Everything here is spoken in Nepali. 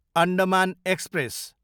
अण्डमान एक्सप्रेस